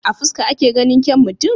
A fuska ake ganin kyaun mutum?